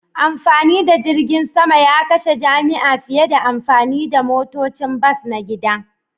Amfani da jirgin sama ya kashe jami'a fiye da amfani da motocin bas na gida